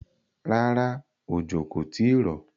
Rárá, òjò kò tìí rọ̀.